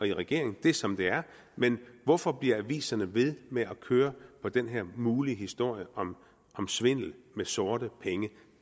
i regeringen det er som det er men hvorfor bliver aviserne ved med at køre på den her mulige historie om svindel med sorte penge